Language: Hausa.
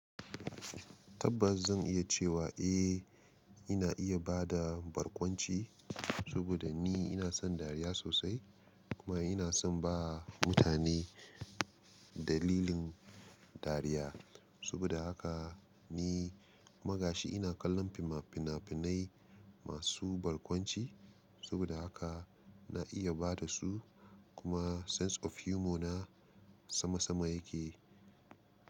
Tabbas zan iya cewa, eh, ina iya ba da barkwanci. Saboda ni ina son dariya sosai kuma ina son ba mutane dalilin dariya. Sabida haka ni kuma gashi ina kallon fina-finai masu barkwanci saboda haka na iya ba da su. Kuma sense of humor na sama sama yake.